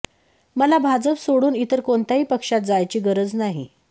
मला भाजप सोडून इतर कोणत्याही पक्षात जायची गरज नाही